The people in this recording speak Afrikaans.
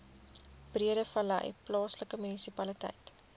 breedevallei plaaslike munisipaliteit